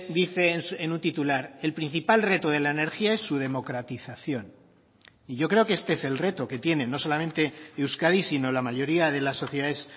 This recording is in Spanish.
dice en un titular el principal reto de la energía es su democratización y yo creo que este es el reto que tiene no solamente euskadi sino la mayoría de las sociedades